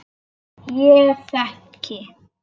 Ég þekki